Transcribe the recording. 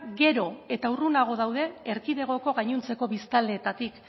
gero eta urrunago daude erkidegoko gainontzeko biztanleetatik